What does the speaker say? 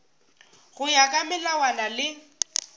go ya ka melawana le